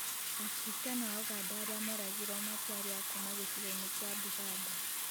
Akiristiano a ũganda arĩa moragirwo matiarĩ akuma gĩcigo-inĩ kĩa Buganda